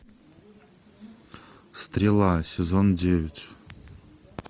стрела сезон девять